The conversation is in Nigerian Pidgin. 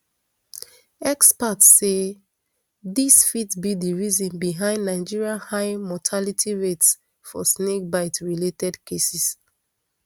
experts say dis fit be di reason behind nigeria high mortality rates for snakebite related cases